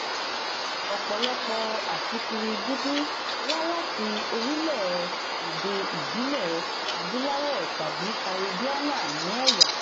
ọ̀pọ̀lọpọ̀ aṣíkiri dúdú wá láti orílẹ̀-èdè ìbílẹ̀ adúláwọ̀ tàbí kàríbíáná ní ẹ̀yà.